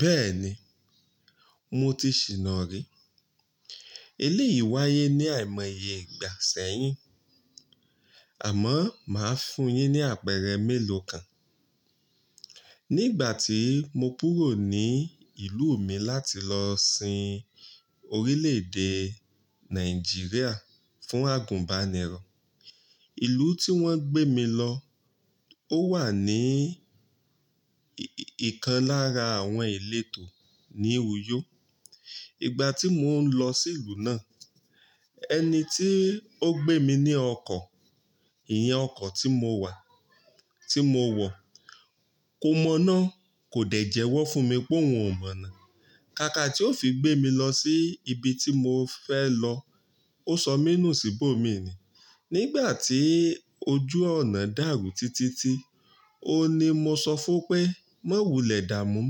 Bẹ́ẹ̀ni, mo ti ṣìná rí. Eléyìí wáyé ní àìmọye ìgbà sẹ́yìn. Àmọ́, màá fún un yín ní àpẹẹrẹ mélòó kan. Nígbà tí mo kúrò ní ìlú mi láti lọ sin Orílè-èdè Nàìjíríà fún àgùnbánirọ̀, ìlú tí wọ́n gbé mi lọ, ó wà ní ìkan lára àwọn ìletò ní Uyo. Ìgbà tí mò ń lọ sí ìlú náà, ẹni tí ó gbé mi ní ọkọ̀, ìyẹn ọkọ̀ tí mo wọ̀, kò mọ̀ná, kò dẹ̀ jẹwọ́ fún mi pé òun ò mọ̀ná. Kàkà tí ó fi gbé mi lọ sí ibi tí mo fẹ́ lọ, ó sọ mí nù síbò mí ni. Nígbà tí ojú ọ̀nà dàrú títítí, òun ni mo sọ fún pé, "Má wulẹ̀ dààmú,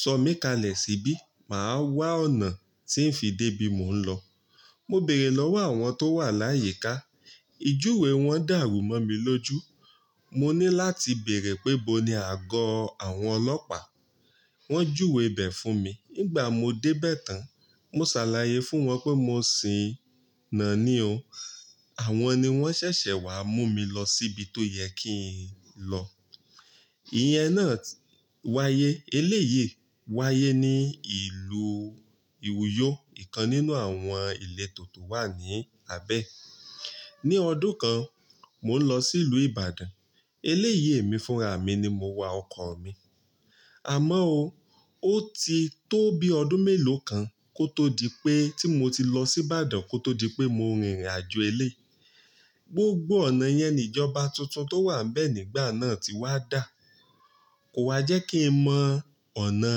sọ mí kalẹ̀ síbí, màá wa ọ̀nà tí ń fi dé ibi mò ń lọ." Mo bèrè lọ́wọ́ àwọn tó wà láyìíká, ìjúwe wọ́n dàrú mọ́ mi lójú. Mo ní láti bèrè pé boni àgọ́ àwọn ọlọ́pàá. Wọ́n júwe bẹ̀ fún mi. Ngbà mo dé bẹ̀ tán, mo ṣàlàyé fún wọn pé mo sìnáá ní o. Àwọn ni wọ́n ṣẹ̀ṣẹ̀ wá mú mi lọ síbi tó yẹ kí n lọ. Ìyẹn náà wáyé, eléyìí wáyé ní ìlú Uyo, ìkan nínú àwọn ìletò tó wà ní abẹ́ ẹ̀. Ní ọdún kan, mò ń lọ sí ìlú Ìbàdàn, eléyìí mi fúnra mi ni mo wa ọkọ̀ mi. Àmáó o, ó ti tó bi ọdún mélòó kan kó tó di pé tí mo ti lọ sí Ìbàdàn kó tó di pé mo rìnrìnàjò eléyii. Gbogbo ọ̀nà yẹn ni ìjọba tuntun tó wà níbẹ̀ nígbà náà ti wá dà. Kò ha jẹ́ kí n mọ ọ̀nà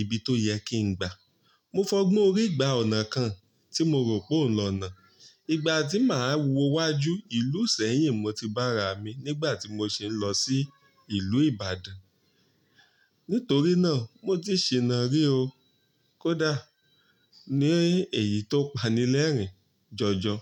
ibi tó yẹ kí n gbà. Mo fọ́gbón orí gba ọ̀nà kan tí mo rò pé òun lọ́nà. Ìgbà tí màá wọ wájú, ìlú ìṣẹ́yìn mo ti bá ra mi nígbà tí mo sì ń lọ sí ìlú Ìbàdàn. Nítorí náà, mo ti ṣìná rí o. Kódà ní èyí tó pani lẹ́ẹ̀rín jọjọ.